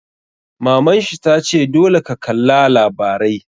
Maman shi ta ce 'Dole ka kalla labarai'!